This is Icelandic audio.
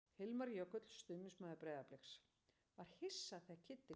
Hilmar Jökull, stuðningsmaður Breiðabliks: Var hissa þegar Kiddi kom í sumar.